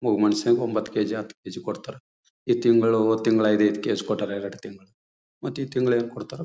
ಒಬ್ಬ ಮನುಷ್ಯನಿಗೆ ಓಬಂತ್ತು ಕೆ ಜಿ ಹತ್ತು ಕೆ ಜಿ ಕೊಡ್ತಾರೆ ಈ ತಿಂಗಳು ಹೋದ್ ತಿಂಗಳು ಐದು ಐದು ಕೆ ಜಿ ಕೊಟ್ಟರೆ ಏರ್ ಎರಡು ತಿಂಗಳು ಮಾತ್ ಈ ತಿಂಗಳು ಏನ್ ಕೊಡ್ತಾರೋ.